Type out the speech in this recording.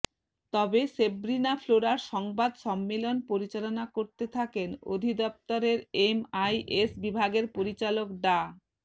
তবে সেব্রিনা ফ্লোরার সংবাদ সম্মেলন পরিচালনা করতে থাকেন অধিদপ্তরের এমআইএস বিভাগের পরিচালক ডা